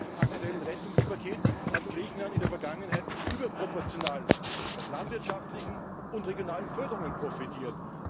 Abgesehen vom aktuellen Rettungspaket hat Griechenland in der Vergangenheit überproportional von landwirtschaftlichen und regionalen Förderungen profitiert.